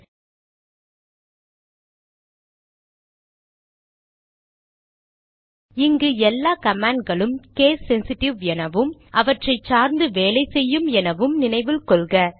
httpspoken tutorialorg இங்கு எல்லா command களும் கேஸ் சென்சிட்டிவ் எனவும் அவற்றை சார்ந்து வேலை செய்யும் என நினைவில் கொள்க